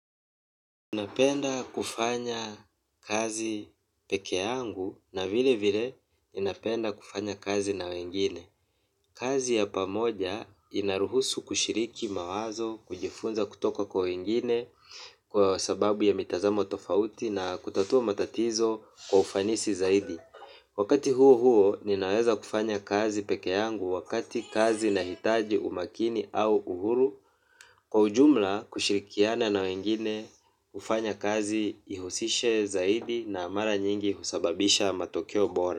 Napenda kufanya kazi pekee yangu na vile vile ninapenda kufanya kazi na wengine. Kazi ya pamoja inaruhusu kushiriki mawazo, kujifunza kutoka kwa wengine kwa sababu ya mitazamo tofauti na kutatua matatizo kwa ufanisi zaidi. Wakati huo huo ninaweza kufanya kazi peke yangu wakati kazi inahiitaji umakini au uhuru kwa ujumla kushirikiana na wengine hufanya kazi ihusishe zaidi na mara nyingi husababisha matokeo bora.